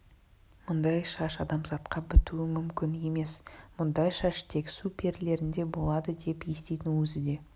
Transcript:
мұндай шаш адамзатқа бітуі мүмкін емес мұндай шаш тек су перілерінде болады деп еститін өзі де